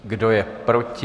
Kdo je proti?